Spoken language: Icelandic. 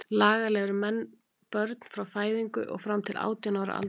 Lagalega eru menn börn frá fæðingu og fram til átján ára aldurs.